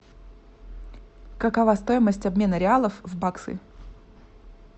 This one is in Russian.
какова стоимость обмена реалов в баксы